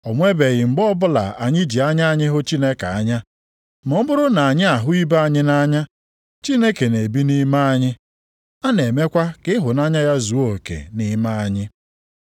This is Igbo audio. O nwebeghị mgbe ọbụla anyị ji anya anyị hụ Chineke anya, ma ọ bụrụ na anyị ahụ ibe anyị nʼanya, Chineke na-ebi nʼime anyị. A na-emekwa ka ịhụnanya ya zuo oke nʼime anyị.